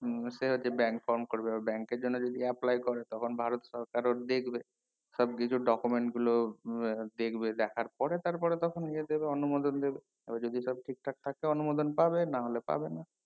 হুম সে হচ্ছে bank from করবে বা bank এর জন্য যদি apply করে তখন ভারত সরকারে দিয়ে দেবে সব কিছু document গুলো আ দেখবে দেখার পরে তারপরে তখন নিয়ে যাবে অনুমোদন দেবে এবার যদি সব ঠিক ঠাক থাকে অনুমোদন পাবে নাহলে পাবে না